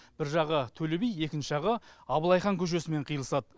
бір жағы төлеби екінші жағы абылай хан көшесімен қиылысады